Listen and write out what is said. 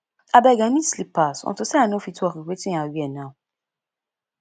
abeg i need slippers unto say i no fit work with wetin i wear now